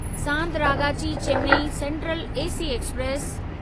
Santragachi Chennai central AC express